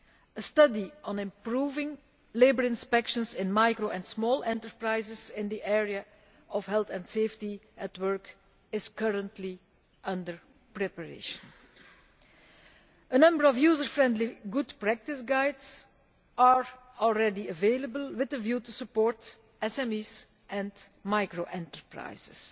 A study on improving labour inspections in small and micro enterprises in the area of health and safety at work is currently under preparation. A number of user friendly good practice guides are already available with a view to supporting SMEs and micro enterprises.